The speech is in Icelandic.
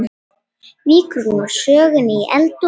Víkur nú sögunni í eldhús.